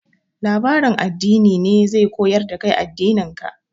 Labarin addini ne zai koyar da kai addinin ka.